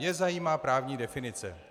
Mě zajímá právní definice.